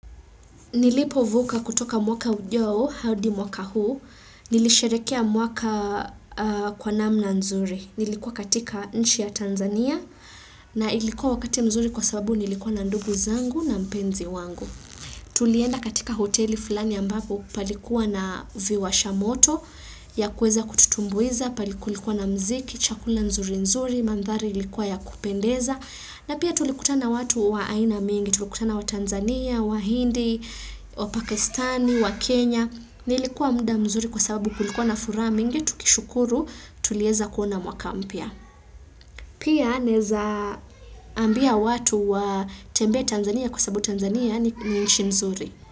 Nilipovuka kutoka mwaka ujao, hadi mwaka huu, nilisherekea mwaka kwa namna nzuri. Nilikuwa katika nchi ya Tanzania na ilikuwa wakati mzuri kwa sababu nilikuwa na ndugu zangu na mpenzi wangu. Tulienda katika hoteli fulani ambapo palikuwa na viwasha moto ya kueza kututumbuiza, pale kulikuwa na mziki, chakula nzuri nzuri, mandhari ilikuwa ya kupendeza. Na pia tulikutana watu wa aina mingi, tulikutana wa Tanzania, wa hindi, wa Pakistani, wa Kenya. Nilikuwa muda mzuri kwa sababu kulikuwa na furaha mingi, tukishukuru tulieza kuona mwaka mpya. Pia naeza ambia watu watembee Tanzania kwa sababu Tanzania ni ni inshi nzuri.